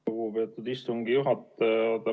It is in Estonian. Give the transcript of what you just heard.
Lugupeetud istungi juhataja!